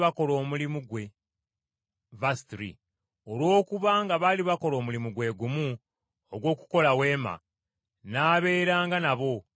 Buli lwa Ssabbiiti Pawulo yabeeranga mu kkuŋŋaaniro ng’amatiza Abayudaaya n’Abayonaani.